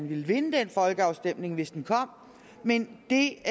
ville vinde den folkeafstemning hvis den kom men det